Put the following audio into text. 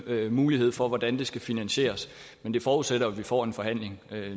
mulighed for hvordan det skal finansieres men det forudsætter at vi får en forhandling